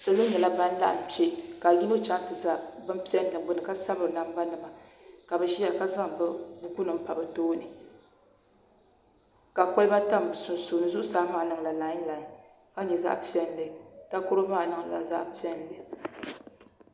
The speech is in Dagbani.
Salo nyɛla ban laɣam kpɛ ka yino chɛŋ ti ʒɛ bin piɛlli gbuni ka sabira namba nima ka bi ʒiya ka zaŋ buku nim pa bi tooni ka kolba tam bi sunsuuni zuɣusaa maa niʋla laain laain ka nyɛ zaɣ piɛlli takoro maa niŋla zaɣ piɛlli